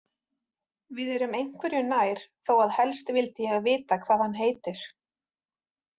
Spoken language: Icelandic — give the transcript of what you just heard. Við erum einhverju nær þó að helst vildi ég vita hvað hann heitir.